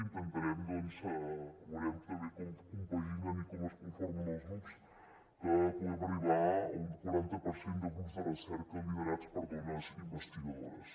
intentarem doncs veurem també com es compaginen i com es conformen els grups que puguem arribar a un quaranta per cent de grups de recerca liderats per dones investigadores